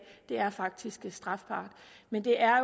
det er faktisk strafbart men det er